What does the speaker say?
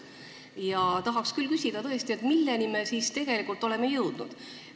Ja tahaks tõesti küsida, milleni me siis tegelikult oleme jõudnud.